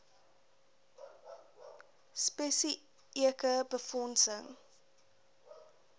spesi eke befondsing